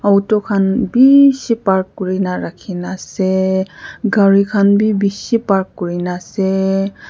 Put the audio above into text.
auto khan bishi park kure na rakhi na ase gari khan bi bishi park kure na ase.